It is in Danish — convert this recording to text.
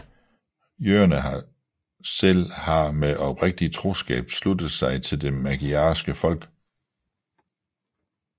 Jøderne selv har med oprigtig troskab sluttet sig til det magyarske folk